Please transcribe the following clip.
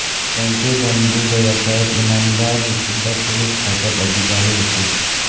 त्यांचे वडील बंधू भैय्यासाहेब इनामदार हेसुद्धा पोलीस खात्यात अधिकारी होते